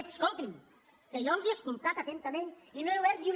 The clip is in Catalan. ep escoltin que jo els he es·coltat atentament i no he obert ni una